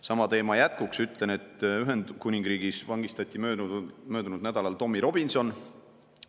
Sama teema jätkuks ütlen, et Ühendkuningriigis vangistati möödunud nädalal Tommy Robinson.